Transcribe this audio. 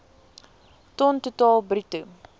ton totaal bruto